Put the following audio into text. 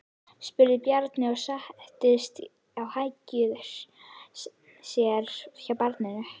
spurði Bjarni og settist á hækjur sér hjá barninu.